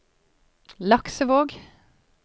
Laksevåg